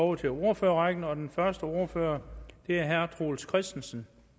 over til ordførerrækken og den første ordfører er herre troels christensen